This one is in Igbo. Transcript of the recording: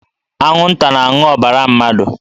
Anwụnta na-aṅụ ọbara mmadụ